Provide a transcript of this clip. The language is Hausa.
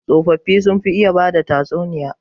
Tsofaffi sun fi iya bada tatsuniya.